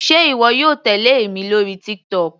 Sé ìwọ yóò tèlé èmi lórí TikTok.